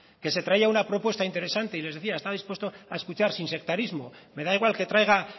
que se traía una propuesta interesante y les decía estoy dispuesto a escuchar sin sectarismo me da igual que traiga